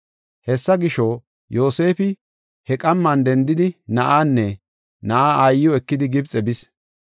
Hessa gisho, Yoosefi he qamman dendidi, na7aanne na7aa aayiw ekidi Gibxe bis.